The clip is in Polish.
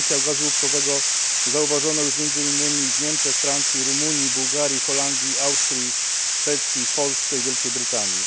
Potencjał gazu łupkowego zauważono już między innymi w Niemczech, Francji, Rumunii, Bułgarii, Holandii, Szwecji, Polsce i Wielkiej Brytanii.